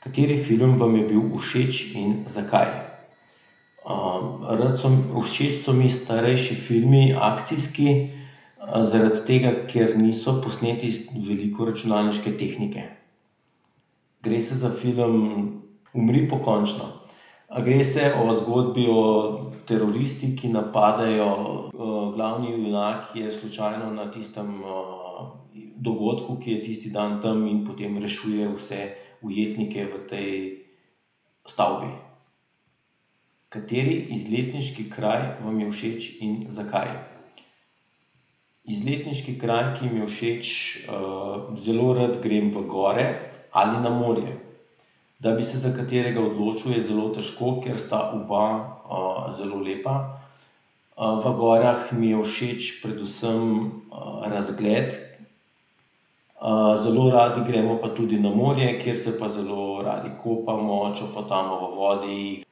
Kateri film vam je bil všeč in zakaj? rad so, všeč so mi starejši filmi, akcijski. zaradi tega, ker niso posneti z veliko računalniške tehnike. Gre se za film Umri pokončno. gre se o zgodbi o teroristi, ki napadejo, glavni junak je slučajno na tistem, dogodku, ki je tisti dan tam, in potem rešuje vse ujetnike v tej stavbi. Kateri izletniški kraj vam je všeč in zakaj? Izletniški kraj, ki mi je všeč ..., zelo rad grem v gore ali na morje. Da bi se za katerega odločil, je zelo težko, ker sta oba, zelo lepa. v gorah mi je všeč predvsem, razgled, zelo radi gremo pa tudi na morje, kjer se pa zelo radi kopamo, čofotamo v vodi.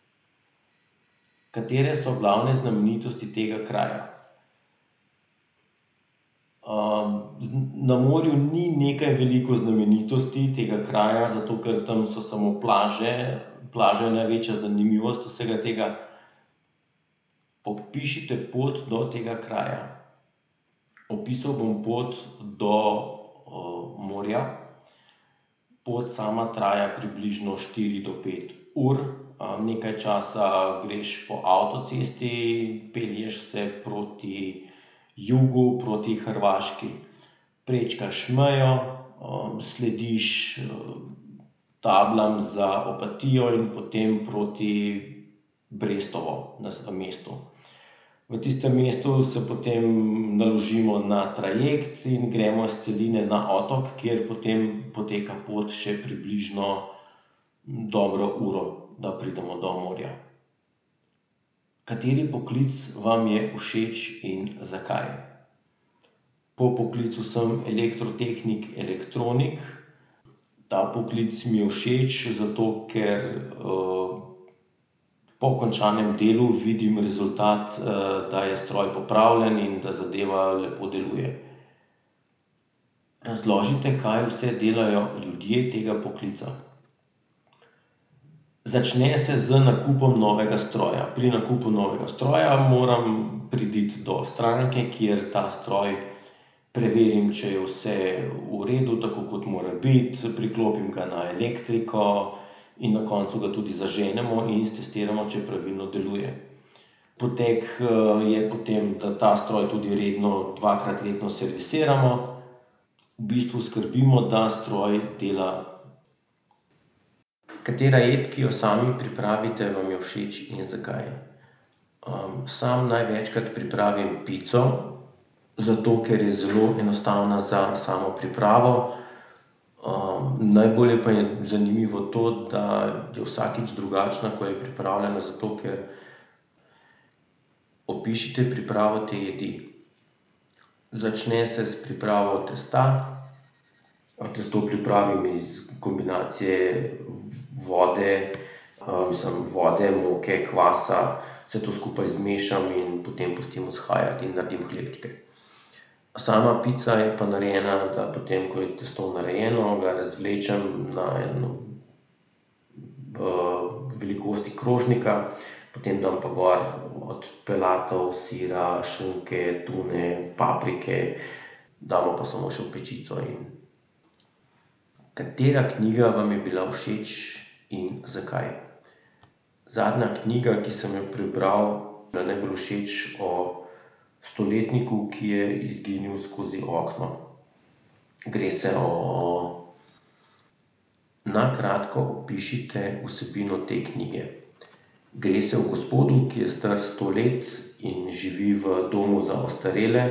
Katere so glavne znamenitosti tega kraja? na morju ni nekaj veliko znamenitosti tega kraja, zato ker tam so samo plaže, plaža je največja zanimivost vsega tega. Opišite pot do tega kraja. Opisal bom pot do, morja. Pot sama traja približno štiri do pet ur. nekaj časa greš po avtocesti, pelješ se proti jugu, proti Hrvaški. Prečkaš mejo, slediš tablam za Opatijo in potem proti Brestovi. V tistem mestu se potem naložimo na trajekt in gremo s celine na otok, kjer potem poteka pot še približno dobro uro, da pridemo do morja. Kateri poklic vam je všeč in zakaj? Po poklicu sem elektrotehnik elektronik. Ta poklic mi je všeč, zato ker, po končanem delu vidim rezultat, da je stroj popravljen in da zadeva lepo deluje. Razložite, kaj vse delajo ljudje tega poklica. Začne se z nakupom novega stroja, pri nakupu novega stroja moram priti do stranke, kjer ta stroj preverim, če je vse v redu, tako kot mora biti, priklopim ga na elektriko in na koncu ga tudi zaženemo in stestiramo, če pravilno deluje. Potek, je potem, da ta stroj tudi redno dvakrat letno servisiramo. V bistvu skrbimo, da stroj dela. Katera jed, ki jo sami pripravite, vam je všeč in zakaj? sam največkrat pripravim pico. Zato ker je zelo enostavna za samo pripravo. najbolj pa je zanimivo to, da je vsakič drugačna, ko jo pripravljena, zato ker ... Opišite pripravo te jedi. Začne se s pripravo testa. testo pripravim iz kombinacije vode, mislim vode, moke, kvasa, vse to skupaj zmešam in potem pustim vzhajati in naredim hlebčke. Sama pica je pa narejena, da potem, ko je testo narejeno, ga razvlečem na eno, velikosti krožnika, potem dam pa gor od pelatov, sira, šunke, tune, paprike, damo pa samo še v pečico in ... Katera knjiga vam je bila všeč in zakaj? Zadnja knjiga, ki sem jo prebral, mi je bila najbolj všeč o stoletniku, ki je izginil skozi okno. Gre se o ... Na kratko opišite vsebino te knjige. Gre se o gospodu, ki je star sto let in živi v domu za ostarele.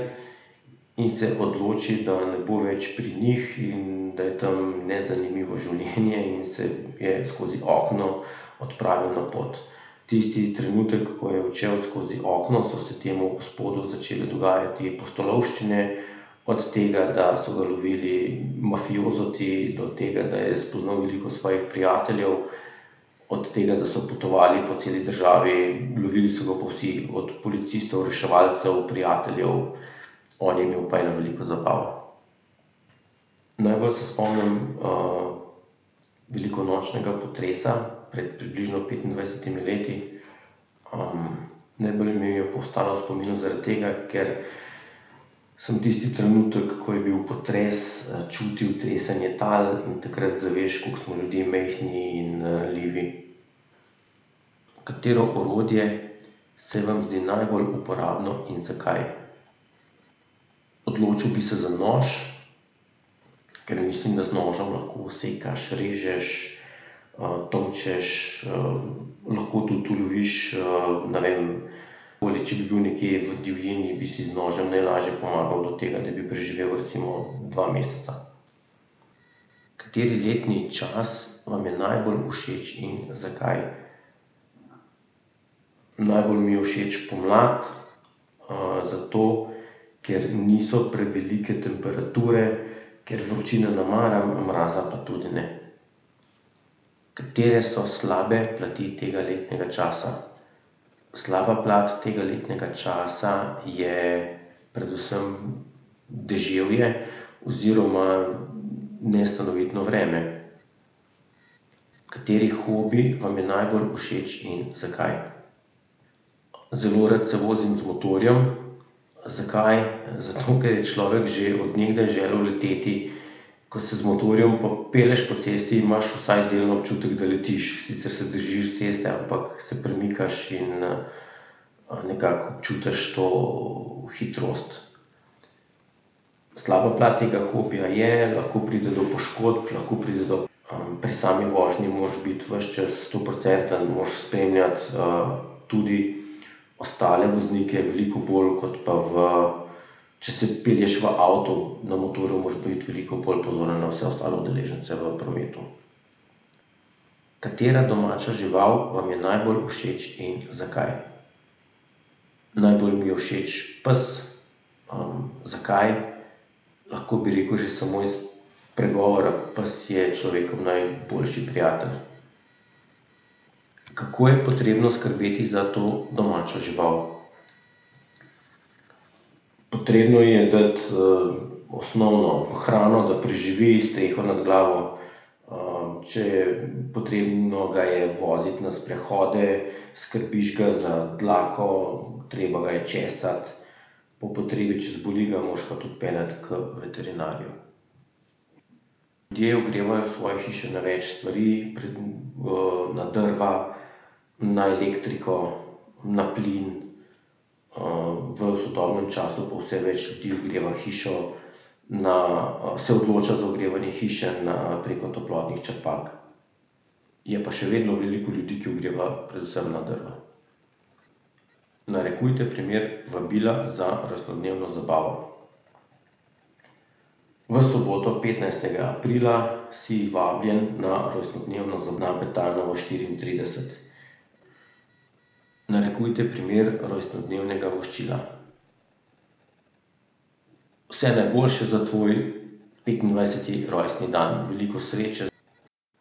In se odloči, da ne bo več pri njih in da je tam nezanimivo življenje in se je skozi okno odpravil na pot. Tisti trenutek, ko je odšel skozi okno, so se temu gospodu začele dogajati pustolovščine, od tega, da so ga lovili mafiozoti, do tega, da je spoznal veliko svojih prijateljev, od tega, da so potovali po celi državi, lovili so ga pa vsi, od policistov, reševalcev, prijateljev, on je imel pa eno veliko zabavo. Najbolj se spomnim, velikonočnega potresa pred približno petindvajsetimi leti. najbolj mi je pa ostala v spominu zaradi tega, ker samo tisti trenutek, ko je bil potres, čutil tresenje tal in takrat zaveš, kako smo ljudje majhni in ranljivi. Katero orodje se vam zdi najbolj uporabno in zakaj? Odločil bi se za nož, ker je mislim, da z nožem lahko sekaš, režeš, tolčeš, lahko tudi uloviš, ne vem, takole če bi bil nekje v divjini, bi si z nožem najlažje pomagal do tega, da bi preživel recimo dva meseca. Kateri letni čas vam je najbolj všeč in zakaj? Najbolj mi je všeč pomlad, zato ker niso prevelike temperature, ker vročine ne maram, mraza pa tudi ne. Katere so slabe plati tega letnega časa? Slaba plat tega letnega časa je predvsem deževje oziroma nestanovitno vreme. Kateri hobi vam je najbolj všeč in zakaj? Zelo rad se vozim z motorjem. Zakaj? Zato, ker je človek že od nekdaj želel leteti, ko se z motorjem pelješ po cesti in imaš vsaj delni občutek, da letiš, sicer se držiš ceste, ampak se premikaš in, nekako občutiš to hitrost. Slaba plat tega hobija je, lahko pride do poškodb, lahko pride do, pri sami vožnji moraš biti ves čas stoprocentno, moraš spenjati tudi ostale voznike, veliko bolj kot pa v, če se pelješ v avtu, na motorju moraš biti veliko bolj pozoren na ostale udeležence v prometu. Katera domača žival vam je najbolj všeč in zakaj? Najbolj mi je všeč pes. zakaj? Lahko bi rekel že samo iz pregovora "Pes je človekov najboljši prijatelj". Kako je potrebno skrbeti za to domačo žival? Potrebno ji je dati, osnovno hrano, da preživi, streho nad glavo, če je potrebno, ga je voziti na sprehode, skrbiš ga za dlako, treba ga je česati, po potrebi, če zboli, ga moraš pa tudi peljati k veterinarju. Ljudje ogrevajo svoje hiše na več stvari. na drva, na elektriko, na plin. v sodobnem času pa vse več ljudi ogreva hišo na, se odloča za ogrevanje hiše na, preko toplotnih črpalk. Je pa še vedno veliko ljudi, ki ogrevajo predvsem na drva. Narekujte primer vabila za rojstnodnevno zabavo. V soboto petnajstega aprila si vabljen na rojstnodnevno na Betajnovo štiriintrideset. Narekujte primer rojstnodnevnega voščila. Vse najboljše za tvoj petindvajseti rojstni dan. Veliko sreče ...